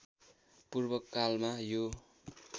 पूर्व कालमा यो